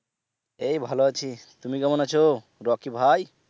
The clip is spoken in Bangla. এই ভালো আছি। তুমি কেমন আছো রকি ভাই?